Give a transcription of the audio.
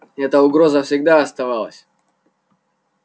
эта угроза всегда оставалась